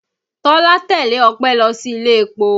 Tọ́lá tẹ́lẹ̀ Ope lọ sí ilé-epo